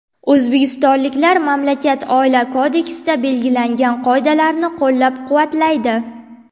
O‘zbekistonliklar mamlakat Oila kodeksida belgilangan qoidalarni qo‘llab-quvvatlaydi.